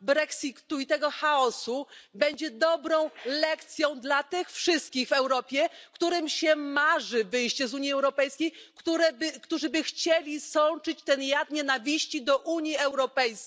brexitu i tego chaosu będzie dobrą lekcją dla tych wszystkich w Europie, którym marzy się wyjście z Unii Europejskiej, którzy by chcieli sączyć ten jad nienawiści do Unii Europejskiej.